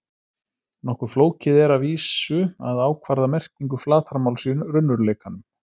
Nokkuð flókið er að vísu að ákvarða merkingu flatarmáls í raunveruleikanum.